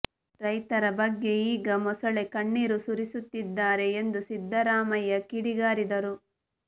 ರೈತರ ಬಗ್ಗೆ ಈಗ ಮೊಸಳೆ ಕಣ್ಣೀರು ಸುರಿಸುತ್ತಿದ್ದಾರೆ ಎಂದು ಸಿದ್ದರಾಮಯ್ಯ ಕಿಡಿಗಾರಿದರು